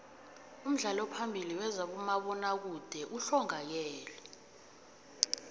umdlali ophambili wezabomabona kude uhlongakele